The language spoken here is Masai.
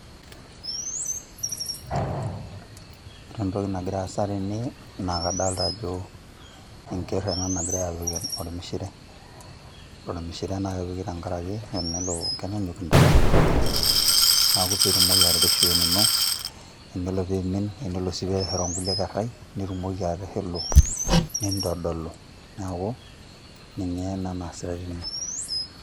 Ore entoki nagira aasa tene, naa kadalta ajo enker ena nagirai apik ormishire. Ore ormishire nakepiki tenkaraki enelo kenyanyuk intare oleng'. Neeku ipik pitumoki atirishu wenino, enelo pimin, enelo si peshoroo nkulie kerrai, nitumoki atishilu. Nintodolu, neeku ninye ena naasitai tene.